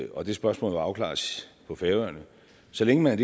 og det spørgsmål må afklares på færøerne så længe man